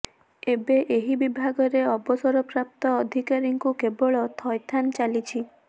ଏବେ ଏହି ବିଭାଗରେ ଅବସରପ୍ରାପ୍ତ ଅଧିକାରୀଙ୍କୁ କେବଳ ଥଇଥାନ ଚାଲିଛି